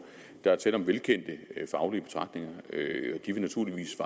der er tale om velkendte faglige betragtninger og de vil naturligvis